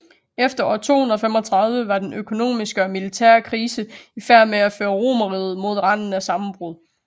Efter år 235 var den økonomiske og militære krise i færd med at føre Romerriget mod randen af sammenbrud